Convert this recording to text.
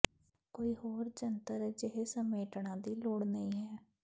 ਕੋਈ ਹੋਰ ਜੰਤਰ ਅਜਿਹੇ ਸਮੇਟਣਾ ਦੀ ਲੋੜ ਨਹੀ ਹੈ